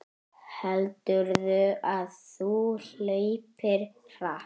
Heldurðu að þú hlaupir hratt?